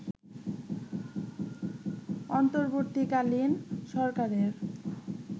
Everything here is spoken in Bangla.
অন্তর্বর্তীকালীন সরকারের